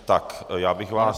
Tak, já bych vás...